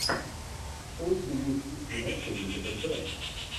что у тебя есть из кино с элизабет бэнкс